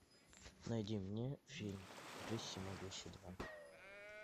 найди мне фильм брюс всемогущий два